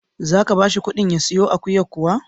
Za ka ba shi ƙuɗin ya siyo akuyar kuwa?